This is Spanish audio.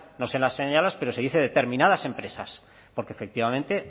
no se las señala pero se dice determinadas empresas porque efectivamente